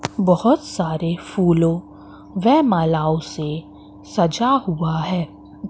बहोत सारे फूलों वेह मालाओं से सजा हुआ हैं।